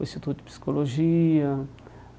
o Instituto de Psicologia.